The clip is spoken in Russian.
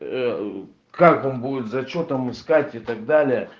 как он будет зачётом искать и так далее